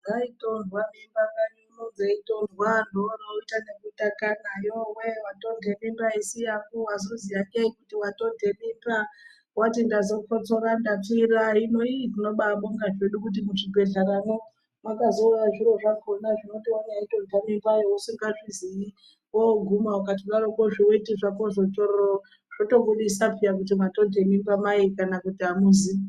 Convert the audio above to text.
Dzaitontwa miba mukanyimwo dzeitontwa, vamweni vaite zvekutakana kwaihai watonta mimba isiriri yangu, waziya ngeyi kuti mimba ngeyangu, wati ndazokotsora nekupfira hino iii tinobaabonga hedu kuti muzvibhedhleramwo mwakazouya zvinohloya zvekuti wakatonta mimbayo usikazviziyi, woguma ukadorokwo zviweti zvakozvo tsvorororo, zvotobudisa kuti mwatonta mimba kana kuti amuzi.